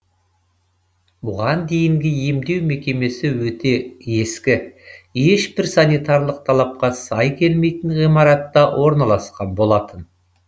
бұған дейінгі емдеу мекемесі өте ескі ешбір санитарлық талапқа сай келмейтін ғимаратта орналасқан болатын